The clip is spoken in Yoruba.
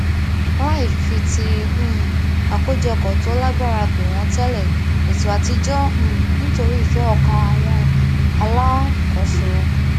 láì fi ti um àkójopò tó lágbára pè wọn tẹlé ètò àtijọ um nítorí ìfẹ ọkàn àwọn alákòóso